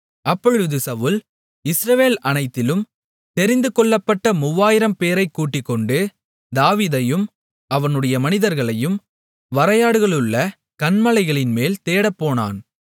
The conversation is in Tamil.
அப்பொழுது சவுல் இஸ்ரவேல் அனைத்திலும் தெரிந்துகொள்ளப்பட்ட 3000 பேரைக் கூட்டிக்கொண்டு தாவீதையும் அவனுடைய மனிதர்களையும் வரையாடுகளுள்ள கன்மலைகளின்மேல் தேடப்போனான்